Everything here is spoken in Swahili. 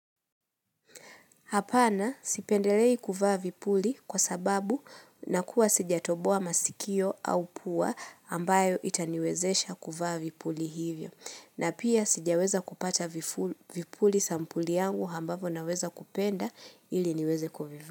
Hapana sipendelei kuvaa vipuli kwa sababu nakuwa sijatoboa masikio au pua ambayo itaniwezesha kuvaa vipuli hivyo. Na pia sijaweza kupata vipuli sampuli yangu hambavo naweza kupenda ili niweze kuvivaa.